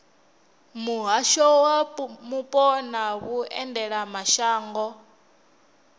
muhasho wa mupo na vhuendelamashango